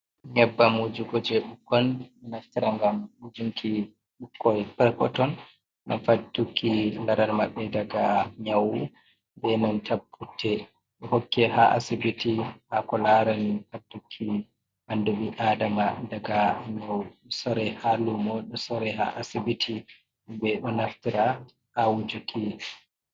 Nyebbam wujugo je ɓikkoi naftira ngam wujuki ɓikkoi perpetoi. Ngam fadduki laral maɓɓe daga nyawu ,be nanta putte. Hokke ha asibiti hako larani faddu ki ɓandu ɓi adama daga nyawu. Sore ha lumo ɗo sore ha asibiti, ɓeɗo naftira ha wujuki.